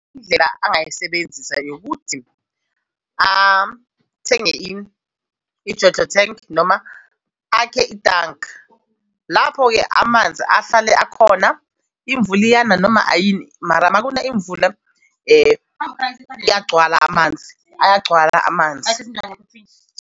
Indlela angayisebenzisa ukuthi athenge i-JoJo tank noma akhe itanki. Lapho-ke amanzi ahlale akhona imvula iyana noma ayini mara makuna imvula ayagcwala amanzi, ayagcwala amanzi.